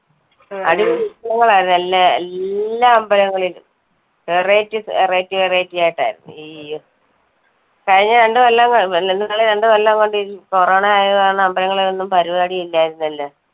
അടിപൊളി ഉത്സവങ്ങൾ ആയിരുന്നു എല്ല ~എല്ലാ അമ്പലങ്ങളിലും. variety variety variety ആയിട്ട് ആയിരുന്നു. അയ്യോ. കഴിഞ്ഞ രണ്ടുകൊല്ലം കഴിഞ്ഞ രണ്ടു കൊല്ലം കൊണ്ട് corona ആയതു കാരണം അമ്പലങ്ങളിൽ ഒന്നും പരിപാടി ഇല്ലായിരുന്നല്ലോ.